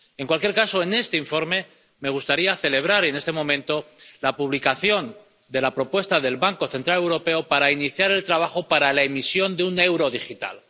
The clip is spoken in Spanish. En cualquier caso, en este informe, me gustaría celebrar en este momento la publicación de la propuesta del Banco Central Europeo para iniciar el trabajo para la emisión de un euro digital.